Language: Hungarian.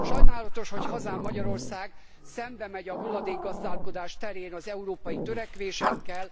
Sajnálatos, hogy hazám, Magyarország szembemegy a hulladékgazdálkodás terén az európai törekvésekkel.